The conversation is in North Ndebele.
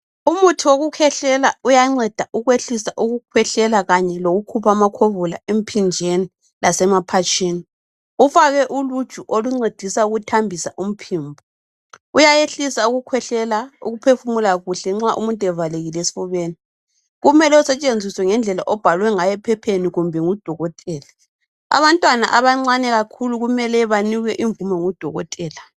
Umuthi wokukhwehlela uyanceda ukwehlisa kanye lokukhupha amakhovula emphinjeni lasema phatshini. Kufakwe uluju oluncedisa ukuthambisa umphimbo, uyayehilsa ukukhwehlela ukuphefumula kuhle nxa umuntu evalekile esifubeni. Kumele usetshenziswe ngendlela obhalwe ngayo ephepheni kumbe ngu dokotela. Abantwana abancane kakhulu kumele banikwe invumo ngu dokotela.